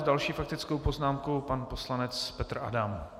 S další faktickou poznámkou pan poslanec Petr Adam.